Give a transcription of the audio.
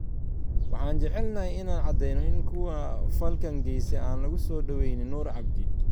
"Waxaan jecelnahay inaan cadeynno in kuwa falkan geystay aan lagu soo dhaweynayn Noor Cabdi.